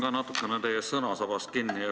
Ma hakkan ka teil sõnasabast kinni.